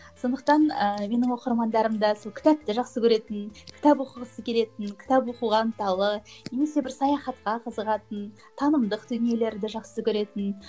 сондықтан ыыы менің оқырмандарым да сол кітапты жақсы көретін кітап оқығысы келетін кітап оқуға ынталы немесе бір саяхатқа қызығатын танымдық дүниелерді жақсы көретін